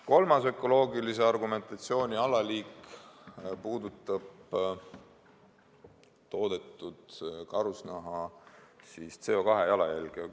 Kolmandat liiki ökoloogilised argumendid puudutavad toodetud karusnaha CO2-jalajälge.